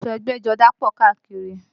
Aṣọ ẹgbẹ́jọdá pọ̀ káàkiri